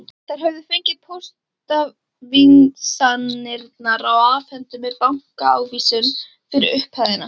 Þær höfðu fengið póstávísanirnar og afhentu mér bankaávísun fyrir upphæðinni.